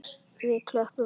Við klöppum öll.